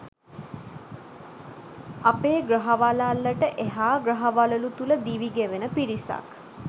අපේ ග්‍රහ වළල්ලට එහා ග්‍රහ වළලු තුළ දිවි ගෙවන පිරිසක්.